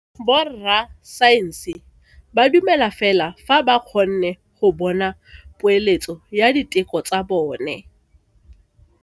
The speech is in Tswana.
Borra saense ba dumela fela fa ba kgonne go bona poeletso ya diteko tsa bone.